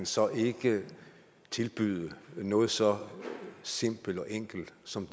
så ikke kan tilbyde dem noget så simpelt og enkelt som